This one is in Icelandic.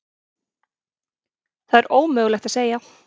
Það er ómögulegt að segja.